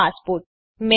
આમાંનું કોઈપણ હોઈ શકે છે